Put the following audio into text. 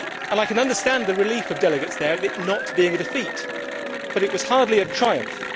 I can understand the relief of delegates there of it not being a defeat, but it was hardly a triumph.